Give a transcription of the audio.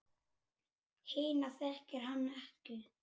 Hina þekkir hann ekki.